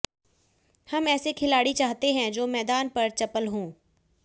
हम ऐसे खिलाड़ी चाहते हैं जो मैदान पर चपल हों